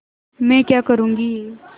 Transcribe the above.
मैं क्या करूँगी